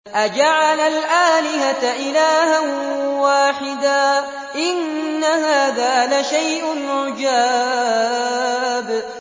أَجَعَلَ الْآلِهَةَ إِلَٰهًا وَاحِدًا ۖ إِنَّ هَٰذَا لَشَيْءٌ عُجَابٌ